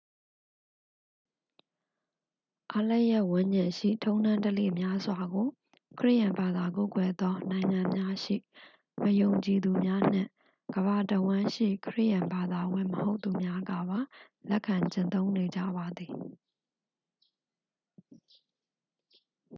အားလပ်ရက်ဝန်းကျင်ရှိ ထုံးတမ်းဓလေ့များစွာကို ခရစ်ယာန်ဘာသာကိုးကွယ်သောနိုင်ငံများရှိ မယုံကြည်သူများနှင့် ကမ္ဘာတစ်ဝှမ်းရှိ ခရစ်ယာန်ဘာသာဝင်မဟုတ်သူများကပါ လက်ခံကျင့်သုံးနေကြပါသည်